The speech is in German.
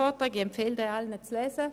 ich empfehle allen, ihn zu lesen.